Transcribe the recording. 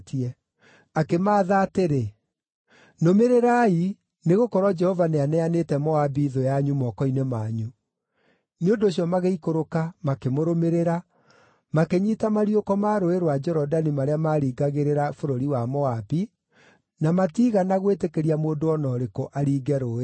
Akĩmaatha atĩrĩ, “Nũmĩrĩrai, nĩgũkorwo Jehova nĩaneanĩte Moabi thũ yanyu moko-inĩ manyu.” Nĩ ũndũ ũcio magĩikũrũka makĩmũrũmĩrĩra, makĩnyiita mariũko ma Rũũĩ rwa Jorodani marĩa maaringagĩrĩra bũrũri wa Moabi, na matiigana gwĩtĩkĩria mũndũ o na ũrĩkũ aringe rũũĩ rũu.